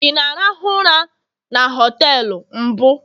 ị na-arahụ ụra na họtelu mbụ?